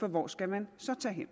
for hvor skal man så tage hen